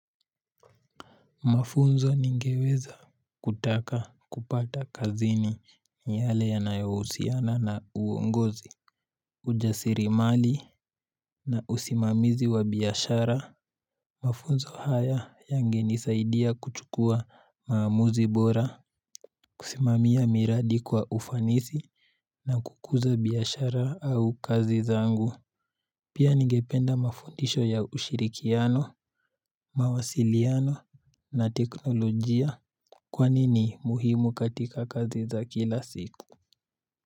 Mafunzo ningeweza kutaka kupata kazini no yale yanayayohusiana na uongozi. Ujasirimali na usimamizi wa biashara. Mafunzo haya yangenisaidia kuchukua maamuzi bora. Kusimamia miradi kwa ufanisi na kukuza biashara au kazi zangu. Pia ningependa mafundisho ya ushirikiano, mawasiliano na teknolojia. Kwani ni muhimu katika kazi za kila siku?